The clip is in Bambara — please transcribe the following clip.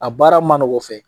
A baara ma nɔg'o fɛ